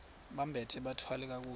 bambathe bathwale kakuhle